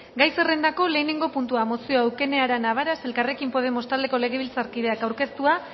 gai zerrendako lehenengo puntua mozioa eukene arana varas elkarrekin podemos taldeko legebiltzarkideak aurkeztua